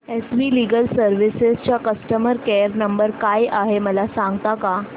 S V legal services चा customer care number काय आहे मला सांगता का